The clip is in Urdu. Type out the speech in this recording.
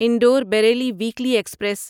Indore Bareilly weekly express